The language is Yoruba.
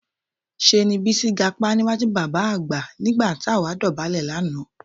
Ṣé ni Bísí gapá níwájú bàbá àgbà nígbà tó àwa dọ̀bálẹ̀ lánàá